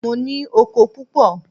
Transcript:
Mo ní oko púpọ̀.